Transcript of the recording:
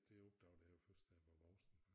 Det opdagede jeg jo først da jeg var voksen